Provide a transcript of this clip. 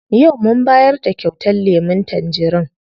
Yau mun bayar da kyautar lemun tangerin.